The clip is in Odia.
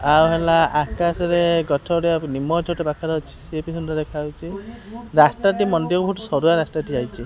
ଆଉ ହେଲା ଆକାଶରେ ଗଛ ଗୁଡ଼ିକ ନିମ ଗଛ ଟେ ପାଖରେ ଅଛି ସିଏବି ସୁନ୍ଦର ଦେଖାଯାଉଚି ରାସ୍ତା ଟି ମନ୍ଦିର ପଟୁ ସରୁଆ ରାସ୍ତା ଠିଆ ହେଇଚି।